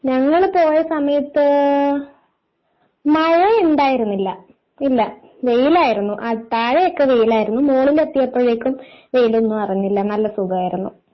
ഞങ്ങള് പോയ സമയത്ത് മഴ ഉണ്ടായിരുന്നില്ല ഇല്ല വെയിലായിരുന്നു താഴെ ഒക്കെ വെയിലായിരുന്നു മുകളിൽ എത്തിയപ്പോഴേക്കും വെയിൽ ഒന്നും അറിഞ്ഞില്ല നല്ല സുഖമായിരുന്നു.